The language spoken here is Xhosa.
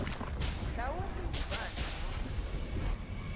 mhlawumbi ubani wothi